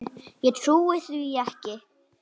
Ég trúi því ekki!